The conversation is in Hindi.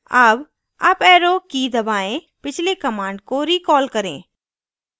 अब uparrow की key दबाएँ पिछली command को recall करें